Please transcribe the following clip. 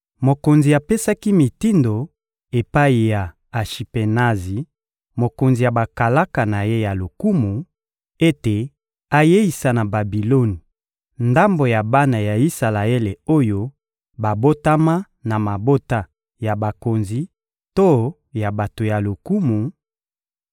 Mokonzi apesaki mitindo epai ya Ashipenazi, mokonzi ya bakalaka na ye ya lokumu, ete ayeisa na Babiloni ndambo ya bana ya Isalaele oyo babotama na mabota ya bakonzi to ya bato ya lokumu,